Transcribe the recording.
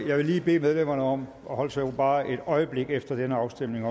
jeg vil lige bede medlemmerne om at holde sig i ro bare et øjeblik til efter den her afstemning